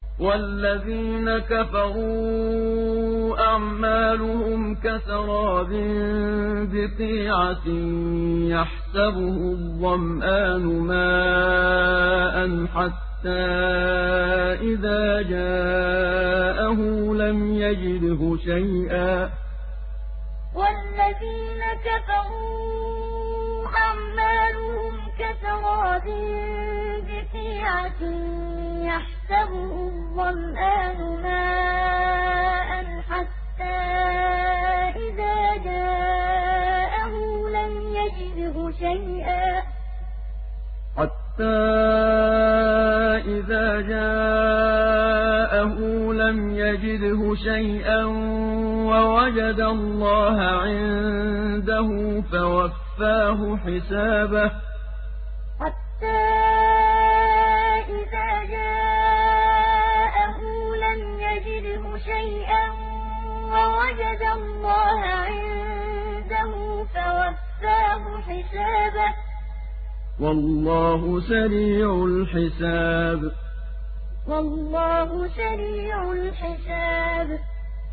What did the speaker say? وَالَّذِينَ كَفَرُوا أَعْمَالُهُمْ كَسَرَابٍ بِقِيعَةٍ يَحْسَبُهُ الظَّمْآنُ مَاءً حَتَّىٰ إِذَا جَاءَهُ لَمْ يَجِدْهُ شَيْئًا وَوَجَدَ اللَّهَ عِندَهُ فَوَفَّاهُ حِسَابَهُ ۗ وَاللَّهُ سَرِيعُ الْحِسَابِ وَالَّذِينَ كَفَرُوا أَعْمَالُهُمْ كَسَرَابٍ بِقِيعَةٍ يَحْسَبُهُ الظَّمْآنُ مَاءً حَتَّىٰ إِذَا جَاءَهُ لَمْ يَجِدْهُ شَيْئًا وَوَجَدَ اللَّهَ عِندَهُ فَوَفَّاهُ حِسَابَهُ ۗ وَاللَّهُ سَرِيعُ الْحِسَابِ